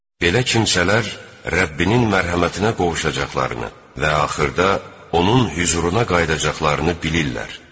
Belə kimsələr Rəbbinin mərhəmətinə qovuşacaqlarını və axırda Onun hüzuruna qayıdacaqlarını bilirlər.